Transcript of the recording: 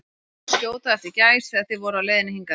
Ég sá þig skjóta á eftir gæs, þegar þið voruð á leiðinni hingað